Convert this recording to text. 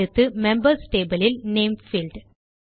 அடுத்து members table இல் name field